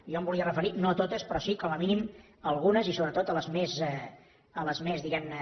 jo em volia re ferir no a totes però sí com a mínim a algunes i sobretot a les més diguem ne